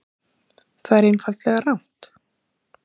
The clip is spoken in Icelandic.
Það er einfaldlega rangt